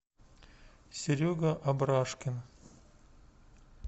серега абрашкин